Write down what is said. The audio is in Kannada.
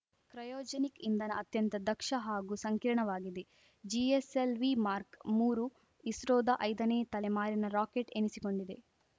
ಕ್ರಯೋಜೆನಿಕ್‌ ಇಂಧನ ಅತ್ಯಂತ ದಕ್ಷ ಹಾಗೂ ಸಂಕೀರ್ಣವಾಗಿದೆ ಜಿಎಸ್‌ಎಲ್‌ವಿ ಮಾರ್ಕ್ ಮೂರು ಇಸ್ರೋದ ಐದನೇ ತಲೆಮಾರಿನ ರಾಕೆಟ್‌ ಎನಿಸಿಕೊಂಡಿದೆ